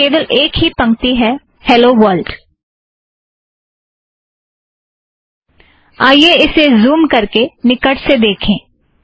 इस में केवल एक ही पंक्ती है - हेलो वर्लड आइए इसे ज़ूम करके निकट से देखें